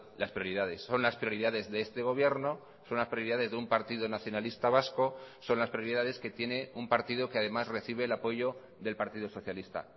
las prioridades son las prioridades de este gobierno son las prioridades de un partido nacionalista vasco son las prioridades que tiene un partido que además recibe el apoyo del partido socialista